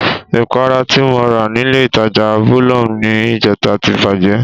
Ìpara ti mo rà nílé ìtajà Bolum ní ìjẹta ti bàjẹ́